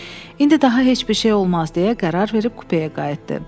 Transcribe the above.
İndi daha heç bir şey olmaz deyə qərar verib kupeyə qayıtdı.